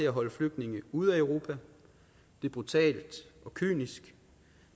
at holde flygtninge ude af europa det er brutalt og kynisk